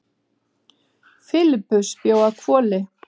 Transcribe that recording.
Filippus bjó að Hvoli.